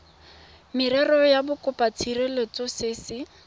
merero ya bokopatshireletso se se